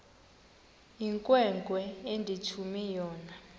inkwenkwe endithume yona